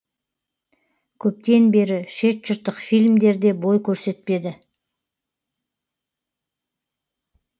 көптен бері шет жұрттық фильмдер де бой көрсетпеді